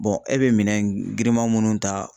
e bɛ minɛn giriman munnu ta